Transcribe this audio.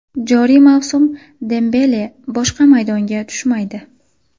Joriy mavsum Dembele boshqa maydonga tushmaydi.